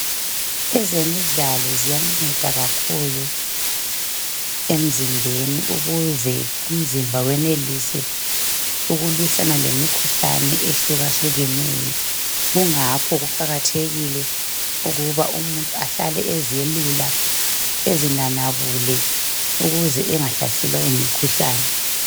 Ezemidlalo ziyanceda kakhulu emzimbeni ukuze umzimba wenelise ukulwisana lemikhuhlane ehlukeneyo kungakho kuqakathekile ukuba umuntu ahlale ezelula ezinanabule ukuze engahlaselwa yimikhuhlane